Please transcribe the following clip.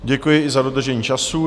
Děkuji i za dodržení času.